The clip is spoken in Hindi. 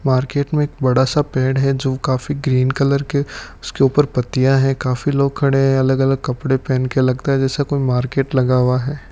मार्केट मे एक बड़ा सा पेड़ है जो काफी ग्रीन कलर के उसके ऊपर पत्तियां है काफी लोग खडे है अलग अलग कपड़े पहनके लगता है जैसे कोई लगा हुआ है।